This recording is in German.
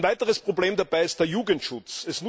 Ein weiteres Problem dabei ist der Jugendschutz.